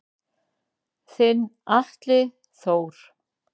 Þinn Atli Þór.